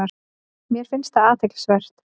Mér fannst það dálítið athyglisvert